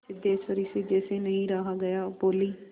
सिद्धेश्वरी से जैसे नहीं रहा गया बोली